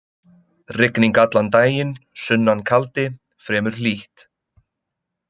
Rigning allan daginn, sunnan kaldi, fremur hlýtt.